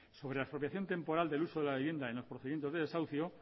sobre la expropiación temporal del uso de la vivienda en los procedimientos de desahucio